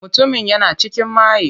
Mutumin yana cikin maye.